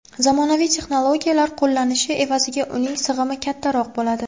Zamonaviy texnologiyalar qo‘llanishi evaziga uning sig‘imi kattaroq bo‘ladi.